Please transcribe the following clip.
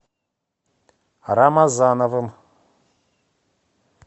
рамазановым